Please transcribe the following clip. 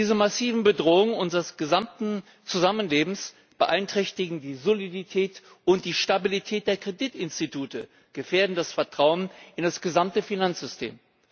Diese massiven Bedrohungen unseres gesamten Zusammenlebens beeinträchtigen die Solidität und die Stabilität der Kreditinstitute, gefährden das Vertrauen in das gesamte Finanzsystem.